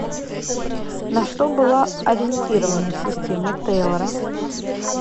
на что была ориентирована система тейлора